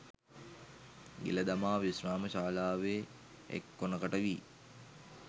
ගිල දමා විශ්‍රාම ශාලාවේ එක් කොනකට වී